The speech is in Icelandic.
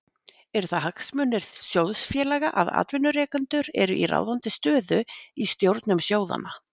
Eru það hagsmunir sjóðfélaga að atvinnurekendur eru í ráðandi stöðu í stjórnum sjóðanna?